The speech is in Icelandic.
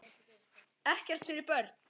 Ekkert fyrir börn.